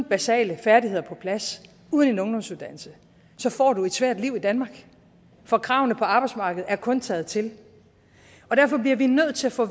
basale færdigheder på plads uden en ungdomsuddannelse så får du et svært liv i danmark for kravene på arbejdsmarkedet er kun taget til derfor bliver vi nødt til at få